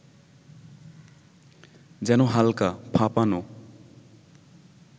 যেন হালকা, ফাঁপানো